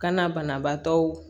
Kana banabaatɔw